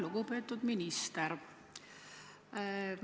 Lugupeetud minister!